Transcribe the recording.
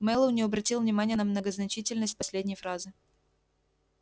мэллоу не обратил внимания на многозначительность последней фразы